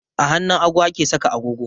A hannun hagu ake saka agogo